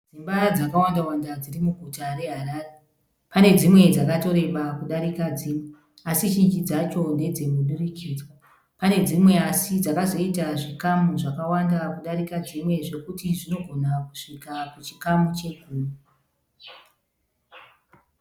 Dzimba dzakawandawanda dziri muguta reHarare. Pane dzimwe dzakatoreba kudarika dzimwe, asi zhinji dzacho ndedzemunhurikidzwa. Pane dzimwe asi dzakazoita zvikamu zvakawanda kudarika dzimwe zvokuti zvinogona kusvika kuchikamu chegumi.